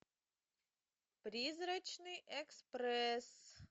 призрачный экспресс